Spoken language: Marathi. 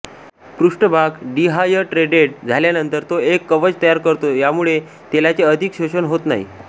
पृष्ठभाग डिहायड्रेटेड झाल्यानंतर तो एक कवच तयार करतो यामुळे तेलाचे अधिक शोषण होत नाही